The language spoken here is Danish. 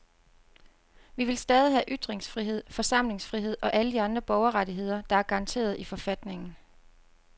Vi vil stadig have ytringsfrihed, forsamlingsfrihed og alle de andre borgerrettigheder, der er garanteret i forfatningen.